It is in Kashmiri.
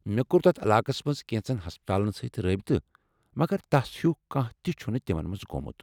مےٚ کو٘ر تتھ علاقس منز کٮ۪نٛژن ہسپتالن سۭتۍ رٲبطہ مگر تس ہیُو کانٛہہ تہِ چھُنہٕ تمن منز گومُت ۔